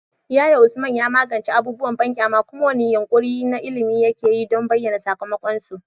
Yaya Usman ya magance abubuwan banƙyama, kuma wane yunƙuri na ilimi yake yi don bayyana sakamakonsu?